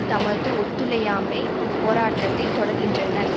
தமது ஒத்துழையாமை போராட்டத்தை தொடர்கின்றனர்